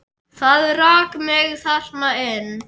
Það rak mig þarna inn.